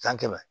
San kɛmɛ